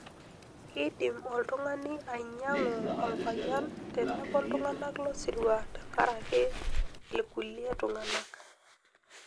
Keidim oltungani ainyan'gu olpayian tenebo iltungana losirua tenkaraki ilkulie tung'anak.